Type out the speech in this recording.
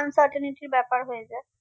uncertanity র ব্যাপার হয়ে যায়